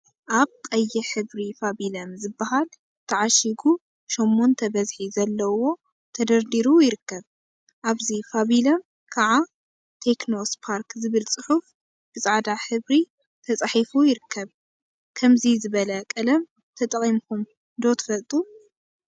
አብ ቀይሕ ሕብሪ ፋቢለም ዝበሃልተዓሺጉ ሸሞንተ በዝሒ ዘለዎ ተደርዲሩ ይርከብ፡፡ አብዚ ፋቢለም ከዓ ቴክኖ ስፓርክ ዝብል ፅሑፍ ብፃዕዳ ሕብሪ ተፃሒፉ ይርከብ፡፡ ከምዚ ዝበለ ቀለም ተጠቂምኩም ዶ ትፈልጡ?